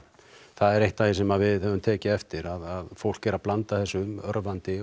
það er eitt af því sem við höfum tekið eftir fólk er að blanda þessu örvandi